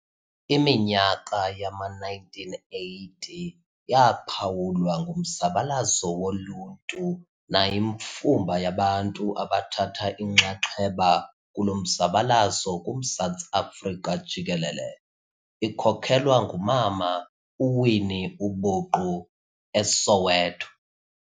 Iminyaka yama-1980 yaphawulwa ngumzabalazo woluntu nayimfumba yabantu abathatha inxaxheba kulo mzabalazo kuMzantsi Afrika jikelele, ikhokhelwa ngumama uWinnie ubuqu, eSoweto.